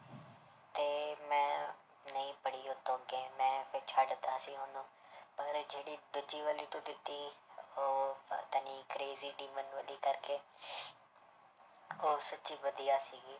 ਤੇ ਮੈਂ ਨਹੀਂ ਪੜ੍ਹੀ ਉਹ ਤੋਂ ਅੱਗੇ ਮੈਂ ਫਿਰ ਛੱਡ ਦਿੱਤਾ ਸੀ ਉਹਨੂੰ ਪਰ ਜਿਹੜੀ ਦੂਜੀ ਵਾਲੀ ਤੂੰ ਦਿੱਤੀ ਉਹ ਪਤਾ ਨੀ crazy ਕਰਕੇ ਉਹ ਸੱਚੀ ਵਧੀਆ ਸੀਗੀ